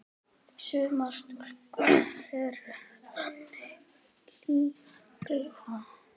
Sumar stúlkur eru þannig líka.